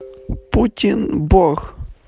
путин бог